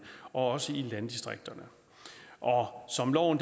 også i landdistrikterne og som loven